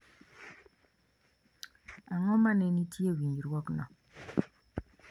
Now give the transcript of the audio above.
Ang’o ma ne nitie e winjruokno